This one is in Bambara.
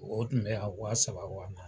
O tun bɛ yan waa saba waa ma